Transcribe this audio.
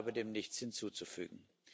Ich habe dem nichts hinzuzufügen.